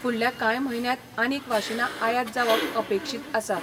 फुडल्या काय म्हयन्यात आनिक वाशिना आयात जावप अपेक्षित आसा.